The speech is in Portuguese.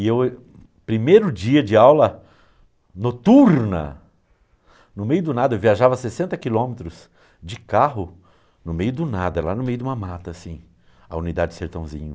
E eu, primeiro dia de aula, noturna, no meio do nada, eu viajava sessenta quilômetros de carro, no meio do nada, lá no meio de uma mata, assim, a unidade sertãozinho.